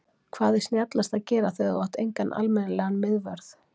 Hvað er snjallast að gera þegar þú átt engan almennilegan miðvörð?